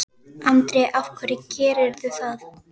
Andri: Af hverju gerirðu það?